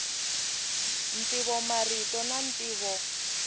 ntivo marito na ntivo